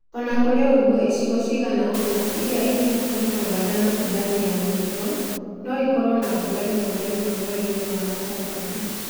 O na kũrĩ ũguo, icigo cigana ũna iria irĩ hakuhĩ na Uganda na Sudan ya Mũhuro no ikorũo na mbura rĩmwe na rĩmwe mweri-inĩ wa Gatandatũ..